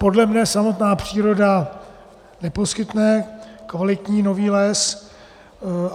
Podle mě samotná příroda neposkytne kvalitní nový les.